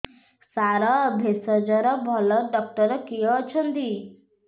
ସାର ଭେଷଜର ଭଲ ଡକ୍ଟର କିଏ ଅଛନ୍ତି